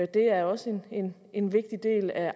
det er også en en vigtig del af